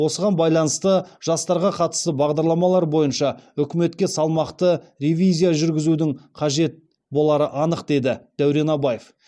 осыған байланысты жастарға қатысты бағдарламалар бойынша үкіметке салмақты ревизия жүргізудің қажет болары анық деді дәурен абаев